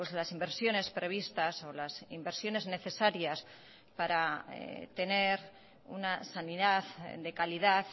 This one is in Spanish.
las inversiones previstas o las inversiones necesarias para tener una sanidad de calidad